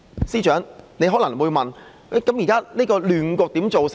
司長可能會問，現時的亂局是怎樣造成的？